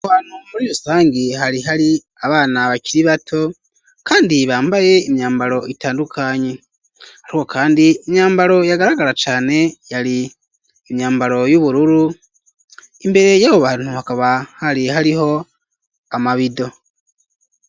Hanamuri rusangi hari hari abana bakiri bato, kandi bambaye imyambaro itandukanyi, ariko, kandi imyambaro yagaragara cane yari imyambaro y'ubururu imbere yabo bantu hakaba hari hariho amabido.